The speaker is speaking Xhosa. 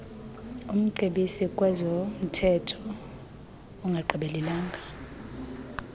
umcebisi kwezomthetho ongagqibelelanga